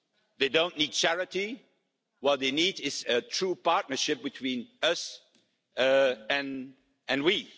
they don't need charity. What they need is a true partnership, between Africa and the